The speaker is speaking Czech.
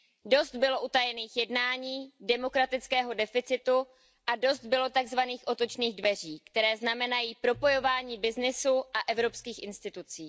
Dost bylo utajených jednání, demokratického deficitu a dost bylo takzvaných otočných dveří, které znamenají propojování byznysu a evropských institucí.